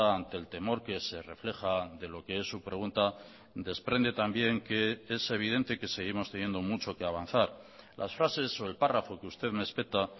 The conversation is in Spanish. ante el temor que se refleja de lo qué es su pregunta desprende también que es evidente que seguimos teniendo mucho que avanzar las frases o el párrafo que usted me espeta